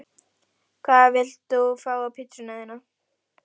Hvað vilt þú fá á pizzuna þína?